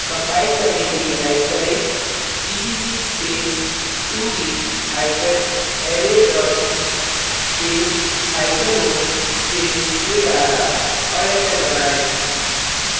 compile करने के लिये type करें gcc space 2d hypen array dot c space hyphen o space arr और enter दबाएँ